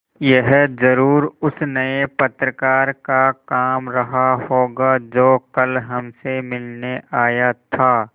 यह ज़रूर उस नये पत्रकार का काम रहा होगा जो कल हमसे मिलने आया था